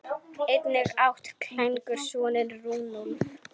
Einnig átti Klængur soninn Runólf.